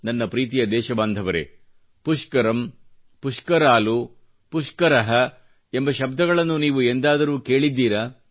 ನನ್ನ ಪ್ರೀತಿಯ ದೇಶಬಾಂಧವರೆ ಪುಷ್ಕರಮ್ ಪುಷ್ಕರಾಲ್ ಪುಷ್ಕರ ಎಂಬ ಶಬ್ದಗಳನ್ನು ನೀವು ಎಂದಾದರೂ ಕೇಳಿದ್ದೀರಾ